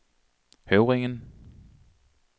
Høvringen